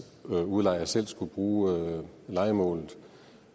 udlejer selv skulle bruge lejemålet